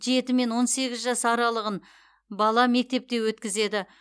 жеті он сегіз жас аралығын бала мектепте өткізеді